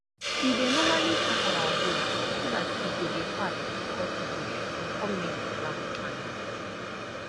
we dey normali sharp our hoes so dat e go dey fast to cut bush and com make d ground fine